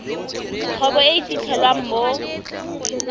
kgwebo e e fitlhelwang mo